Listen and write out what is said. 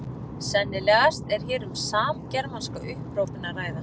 Sennilegast er hér um samgermanska upphrópun að ræða.